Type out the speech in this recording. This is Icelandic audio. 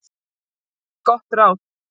Gott ráð